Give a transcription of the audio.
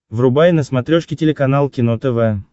врубай на смотрешке телеканал кино тв